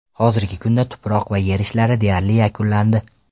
Hozirgi kunda tuproq va yer ishlari deyarli yakunlandi.